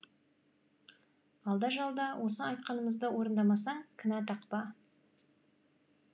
алда жалда осы айтқанымызды орындамасаң кінә тақпа